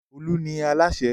Olú ni alasẹ́.